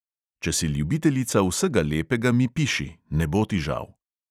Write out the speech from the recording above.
Če si ljubiteljica vsega lepega, mi piši, ne bo ti žal.